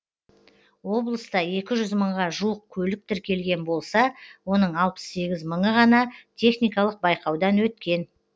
облыста екі жүз мыңға жуық көлік тіркелген болса оның алпыс сегіз мыңы ғана техникалық байқаудан өткен